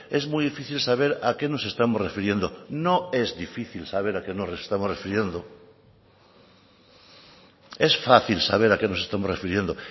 es muy difícil saber a qué nos estamos refiriendo no es difícil saber a qué nos estamos refiriendo es fácil saber a qué nos estamos refiriendo